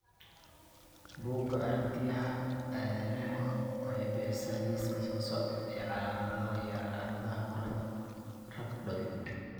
Bugga aragtiyaha aanadanaha waxay bixisaa liiska soo socda ee calaamadaha iyo calaamadaha burada Rhabdoid.